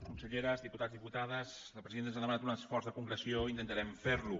conselleres diputats diputades la presidenta ens ha demanat un esforç de concreció i intentarem ferlo